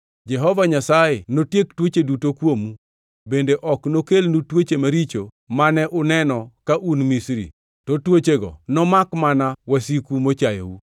Jehova Nyasaye notiek tuoche duto kuomu; bende ok nokelnu tuoche maricho mane uneno ka un Misri, to tuochego nomak mana wasiku mochayou.